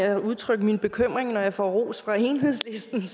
at udtrykke min bekymring over at jeg får ros af enhedslisten